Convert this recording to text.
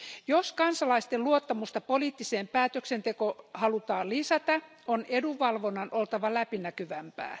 Jos kansalaisten luottamusta poliittisen päätöksentekoon halutaan lisätä, on edunvalvonnan oltava läpinäkyvämpää.